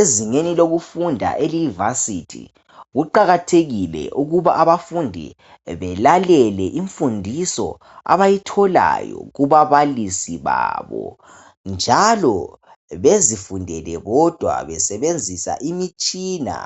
Ezingeni lokufunda eliyi varsity kuqakathekile ukuba abafundi belalele imfundiso abayitholayo kubabalisi babo njalo bezifundele bodwa besebenzisa imitshina .